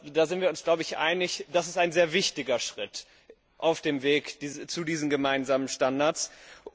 Da sind wir uns, glaube ich, einig, dass das ein sehr wichtiger Schritt auf dem Weg zu diesen gemeinsamen Standards ist.